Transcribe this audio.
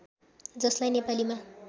जसलाई नेपालीमा